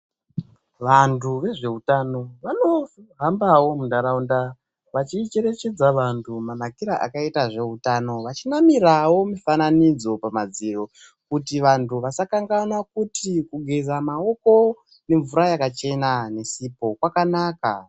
Vantu vezveutano vanohambawo muntaraunda vachicherechedza vantu manakire akaita zvehutano, vachinamirawo mifabanidzo pamadziro kuti vantu vasakanganwa kuti kugeza maoko nemvura yakachena nesipo kwakanaka.